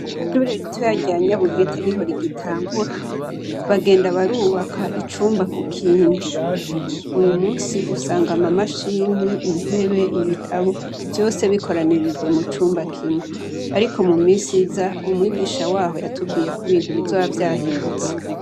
Ishure ritoya rya Nyabugete niho rigitangura, bagenda barubaka icumba kukindi. Uyu musi usanga ama mashini, intebe, ibitabo vyose bikoranirijwe mucumba kimwe. Ariko mumisi iza umwigisha waho yatubwiye ko ibintu bizoba vyahindutse.